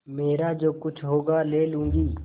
मेरा जो कुछ होगा ले लूँगी